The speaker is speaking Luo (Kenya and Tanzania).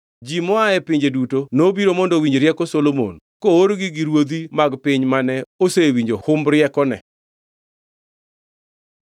Ji moa e pinje duto nobiro mondo owinji rieko Solomon koorgi gi ruodhi mag piny mane osewinjo humb riekone.